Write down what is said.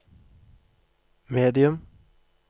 medium